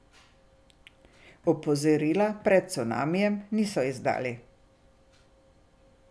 Opozorila pred cunamijem niso izdali.